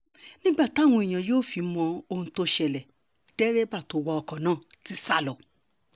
nígbà táwọn èèyàn yóò fi mọ ohun tó ń ṣẹlẹ̀ dírẹ́bà tó wa ọkọ̀ náà ti sá lọ